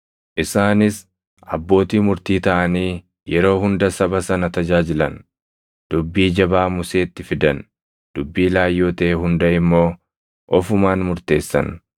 Isaanis abbootii murtii taʼanii yeroo hunda saba sana tajaajilan; dubbii jabaa Museetti fidan; dubbii laayyoo taʼe hunda immoo ofumaan murteessan.